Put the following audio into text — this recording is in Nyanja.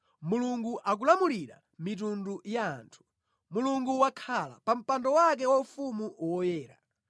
Mulungu akulamulira mitundu ya anthu; Mulungu wakhala pa mpando wake waufumu woyera.